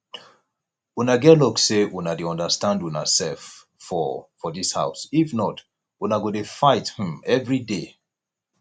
una get luck say una dey understand una self for for dis house if not una go dey fight um everyday